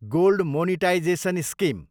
gold monetisation scheme